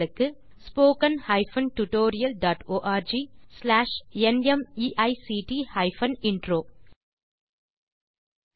spoken hyphen tutorial dot org slash நிமைக்ட் hyphen intro மூல பாடம் தேசி க்ரூ சொலூஷன்ஸ்